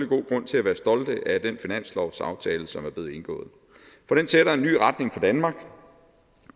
god grund til at være stolte af den finanslovsaftale som er blevet indgået for den sætter en ny retning for danmark